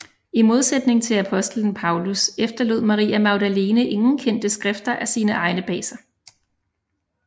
I modsætning til Apostelen Paulus efterlod Maria Magdalene ingen kendte skrifter af sine egne bag sig